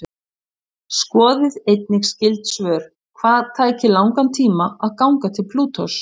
Skoðið einnig skyld svör: Hvað tæki langan tíma að ganga til Plútós?